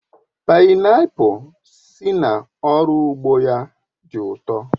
Paịnapul si n'oru ugbo ya di u to